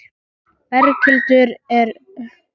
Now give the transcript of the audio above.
Berghildur, er Hönnunarmars hafinn?